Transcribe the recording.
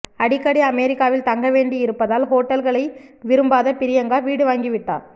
அடிக்கடி அமெரிக்காவில் தங்க வேண்டியிருப்பதால் ஹோட்டல்களை விரும்பாத பிரியங்கா வீடு வாங்கிவிட்டார்